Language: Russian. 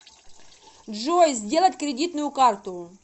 джой сделать кредитную карту